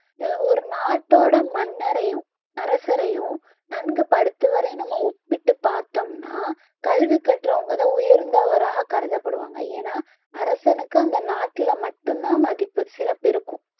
அஹ் ஒரு நாட்டோட மன்னரையும் அரசரையும் நன்கு படித்தவரையும் நம்ம ஒப்பிட்டுப் பார்த்தோம்னா கல்வி கற்றவங்க தான் உயர்ந்தவராக கருதப்படுவாங்க ஏன்னா அரசனுக்கு அந்த நாட்டில மட்டும் தான் மதிப்பு சிறப்பு இருக்கும்